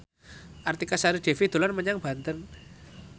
Artika Sari Devi dolan menyang Banten